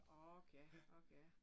Ok ja ok ja